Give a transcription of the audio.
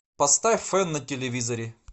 поставь фэн на телевизоре